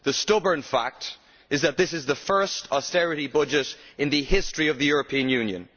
The stubborn fact is that this is the first austerity budget in the history of the European Union.